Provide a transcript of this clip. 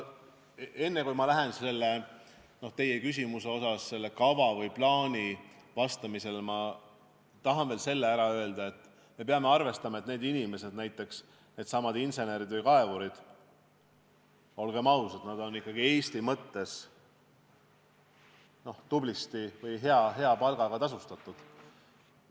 Enne kui ma hakkan vastama teie küsimuse osale kava või plaani kohta, ma tahan veel ära öelda selle, et me peame arvestama, et need inimesed, needsamad insenerid või kaevurid, olgem ausad, on Eesti mõttes tublisti, hea palgaga tasustatud.